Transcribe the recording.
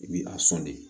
I bi a sɔn de